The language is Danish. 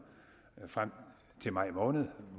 frem til maj måned